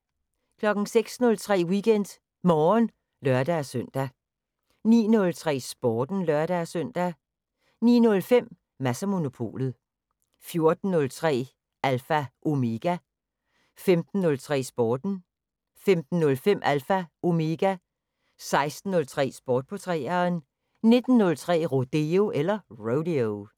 06:03: WeekendMorgen (lør-søn) 09:03: Sporten (lør-søn) 09:05: Mads & Monopolet 14:03: Alpha Omega 15:03: Sporten 15:05: Alpha Omega 16:03: Sport på 3'eren 19:03: Rodeo